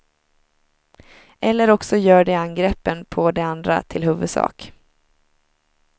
Eller också gör de angreppen på de andra till huvudsak.